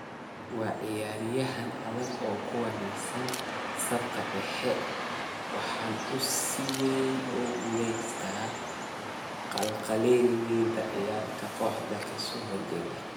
Waa ciyaaryahan adag oo ku wanaagsan safka dhexe, waxaana uu si weyn ugu guuleystaa qalqalgelinta ciyaarta kooxda ka soo horjeedda.